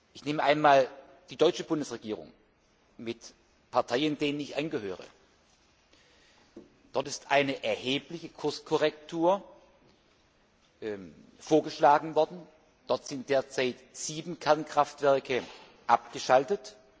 Ich nehme einmal die deutsche Bundesregierung mit Parteien, denen ich angehöre. Dort ist eine erhebliche Kurskorrektur vorgeschlagen worden. In Deutschland sind derzeit sieben Kernkraftwerke abgeschaltet.